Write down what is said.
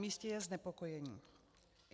Namístě je znepokojení.